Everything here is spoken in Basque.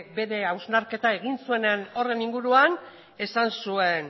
bere hausnarketa egin zuenean horren inguruan esan zuen